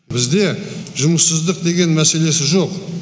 бізде жұмыссыздық деген мәселесі жоқ